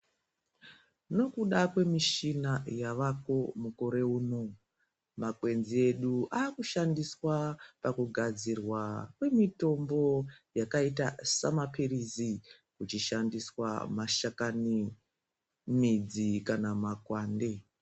Nokuda kwemushina yavako mukore uno ,makwenzi edu akushandiswa pakugadzirwa kwemitombo yakaita samapirizi. Kuchishandiswa mashakani ,midzi kana makwande